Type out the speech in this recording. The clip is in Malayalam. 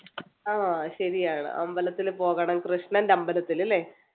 ആഹ് ശെരിയാണ് അമ്പലത്തിൽ പോകണം കൃഷ്ണന്‍ടെ അമ്പലത്തിൽ അല്ലെ?